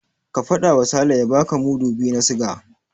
Ka faɗawa Sale ya baka mudu biyu na siga.